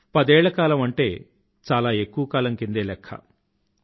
పదేళ్ల కాలం అంటే చాలా ఎక్కువ కాలం కిందే లెఖ్ఖ